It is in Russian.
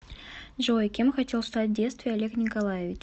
джой кем хотел стать в детстве олег николаевич